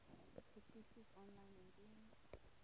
petisies aanlyn indien